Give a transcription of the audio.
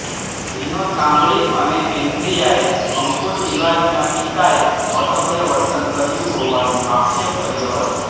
વિનોદ કાંબળી અને એન્ડ્રિયાએ અંકુર તિવારીના પિતાએ અસભ્ય વર્તન કર્યું હોવાનો આક્ષેપ કર્યો હતો